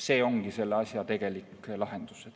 See ongi selle asja tegelik lahendus.